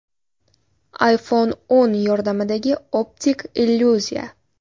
iPhone X yordamidagi optik illyuziya.